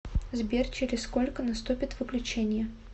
сбер через сколько наступит выключение